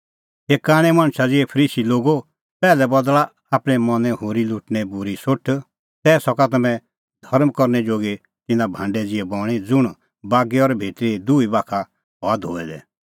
हे कांणै मणछा ज़िहै फरीसी लोगो पैहलै बदल़ा आपणैं मनैं होरी लुटणैं बूरी सोठ तै सका तम्हैं धर्म करनै जोगी तिन्नां भांडै ज़िहै बणीं ज़ुंण बागै और भितरी दुही बाखा हआ धोऐ दै